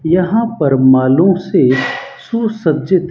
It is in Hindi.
यहां पर मॉलों से सुसज्जित--